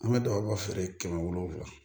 An bɛ dagaba feere kɛmɛ wolonwula